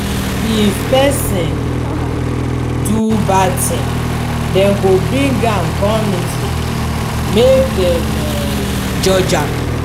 if pesin do bad tin dem go bring am come meeting make dem um judge am.